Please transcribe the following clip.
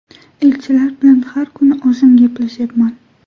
Elchilar bilan har kuni o‘zim gaplashyapman.